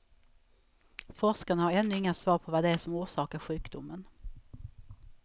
Forskarna har ännu inga svar på vad det är som orsakar sjukdomen.